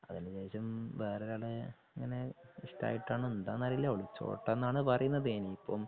അതിനുശേഷം വേറെ ഒരാളെ അങ്ങനെ ഇഷ്ടായിട്ടാണോ എന്താന്നറിയില്ല ഒളിച്ചോട്ടന്നാണ്‌ പറയുന്നത് ഇനിയിപ്പം.